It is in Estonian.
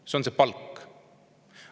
See on see palk.